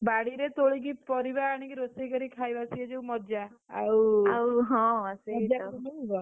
ବାଡିରେ ତୋଳିକିପାରିବା ଆଣିକି ରୋଷେଇକରି ଖାଇବା ସେ ଯୋଉ ମଜା, ଆଉ ଆଉ ହଁ, ସେଇତ ବଜାର ରେ ମିଳିବ, ଆଉ ।